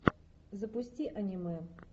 запусти аниме